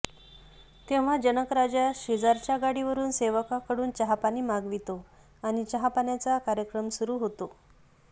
तेव्हा जनकराजा शेजारच्या गाडीवरून सेवकाकडून चहापानी मागवितो आणि चहापाण्याचा कार्यक्रम सुरू होतो